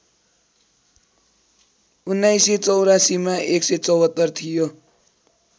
१९८४ मा १७४ थियो